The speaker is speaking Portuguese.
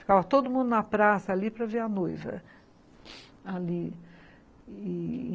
Ficava todo mundo na praça ali para ver a noival, ali e ...